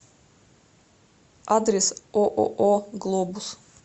адрес ооо глобус